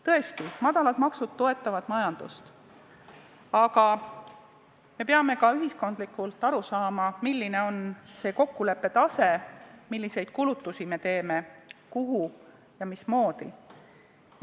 Tõesti, madalad maksud toetavad majandust, aga me peame ka ühiskondlikult aru saama, milline on see kokkuleppe tase, milliseid kulutusi me teeme, kus me neid teeme ja mismoodi.